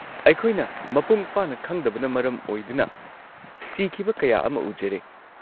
ꯑꯩꯈꯣꯏꯅ ꯃꯄꯨꯡ ꯐꯥꯅ ꯈꯪꯗꯕꯅ ꯃꯔꯝ ꯑꯣꯏꯗꯨꯅ ꯁꯤꯈꯤꯕ ꯀꯌꯥ ꯑꯃ ꯎꯖꯔꯦ꯫